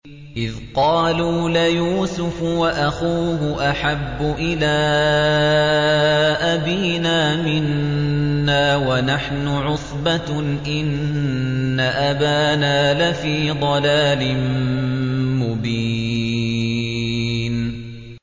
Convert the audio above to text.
إِذْ قَالُوا لَيُوسُفُ وَأَخُوهُ أَحَبُّ إِلَىٰ أَبِينَا مِنَّا وَنَحْنُ عُصْبَةٌ إِنَّ أَبَانَا لَفِي ضَلَالٍ مُّبِينٍ